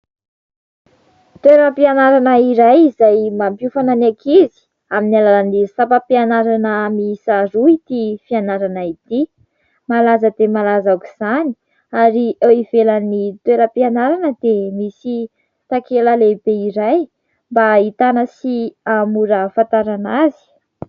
Toeram-pianarana iray izay mampiofana ny ankizy amin'ny alalan'ny sampam-pianarana miisa roa ity fianarana ity, malaza dia malaza aok'izany ary eo ivelan'ny toeram-pianarana dia misy takela lehibe iray mba hahitana sy haha-mora hahafantarana azy.